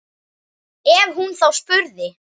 Ef hún þá spurði.